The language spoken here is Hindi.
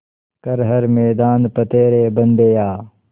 कर हर मैदान फ़तेह रे बंदेया